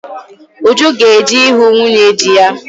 Uju ga-eje ịhụ nwunye dị ya.